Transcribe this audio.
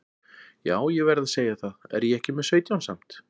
Já ég verð að segja það, er ég ekki með sautján samt?